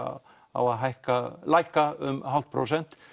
á að lækka lækka um hálft prósent